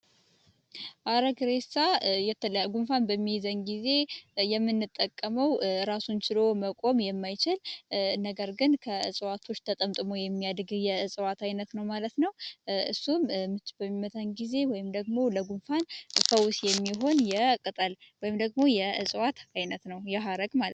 አረግሬሳ የለጉንፋን በሚይዘን ጊዜ የሚንጠቀመው ራሱንችሎዎ መቆም የማይችል ነገር ግን ከእጽዋቶች ተጠምጥሞ የሚያድግህ የእጽዋት ዓይነት ነው ማለት ነው እሱም በሚመታን ጊዜ ወይም ደግሞ ለጉንፋን ፈውስ የሚሆን የቅጠል ወይም ደግሞ የእጽዋት ዓይነት ነው የሃረግ ለ